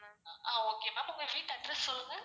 ஆஹ் okay ma'am உங்க வீட்டு address சொல்லுங்க?